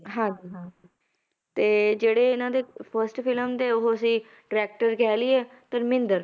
ਹਾਂ ਜੀ ਹਾਂ ਤੇ ਜਿਹੜੇ ਇਹਨਾਂ ਦੇ first film ਦੇ ਉਹ ਸੀ directer ਕਹਿ ਲਈਏ ਧਰਮਿੰਦਰ